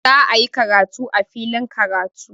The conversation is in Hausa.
Za'ayi karatu a filin karatu.